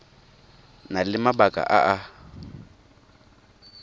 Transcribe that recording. na le mabaka a a